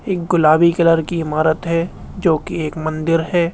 एक गुलाबी कलर की इमारत है जो की एक मंदिर है।